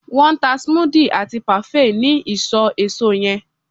won n ta smoothie ati parfait ni iso eso yen